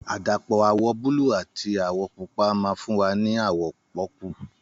Àdàpọ̀ àwọ̀ búlù àti àwọ̀ pupa ma fún wa ní àwọ̀ pọ́pùù